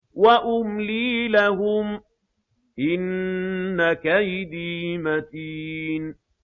وَأُمْلِي لَهُمْ ۚ إِنَّ كَيْدِي مَتِينٌ